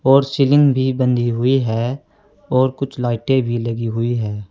और सीलिंग भी बंधी हुई है और कुछ लाइटें भी लगी हुई है।